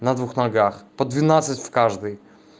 на двух ногах по двенадцать в каждой